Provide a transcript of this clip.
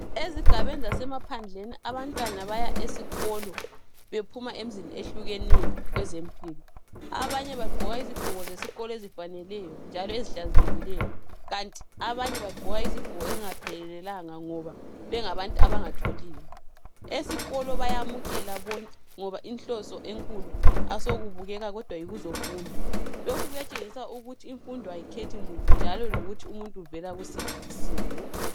Ezigabeni zasemaphandleni abantwana baya esikolo bephuma emzini eyehlukeneyo, kwenzempilo. Abanye bagqoka izigqoko zesikolo ezifaneleyo njalo ezihlanzekileyo kanti abanye bagqoka izigqoko ezingaphelelanga ngoba bengabantu abangatholiyo. Esikolo bayamukela konke ngoba inhloso enkulu asokubukeka kodwa yikuzofunda. Lokhu kuyatshengisa ukuthi imfundo ayikhethi muntu njalo lokuthi umuntu uvula kusiphi isimo.